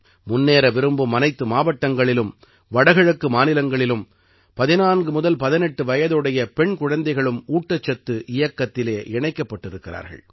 முன்னேற விரும்பும் அனைத்து மாவட்டங்களிலும் வடகிழக்கு மாநிலங்களிலும் 14 முதல் 18 வயதுடைய பெண் குழந்தைகளும் ஊட்டச்சத்து இயக்கத்திலே இணைக்கப்பட்டிருக்கிறார்கள்